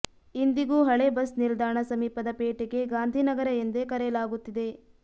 ಇಂದಿಗೂ ಹಳೇ ಬಸ್ ನಿಲ್ದಾಣ ಸಮೀಪದ ಪೇಟೆಗೆ ಗಾಂಧಿನಗರ ಎಂದೇ ಕರೆಯಲಾಗುತ್ತಿದೆ